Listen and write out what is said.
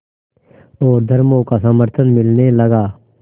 और धर्मों का समर्थन मिलने लगा